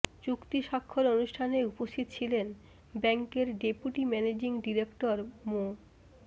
চুক্তি স্বাক্ষর অনুষ্ঠানে উপস্থিত ছিলেন ব্যাংকের ডেপুটি ম্যানেজিং ডিরেক্টর মো